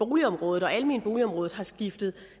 boligområdet og almenboligområdet har skiftet